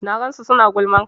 Na gansu suna gulman ka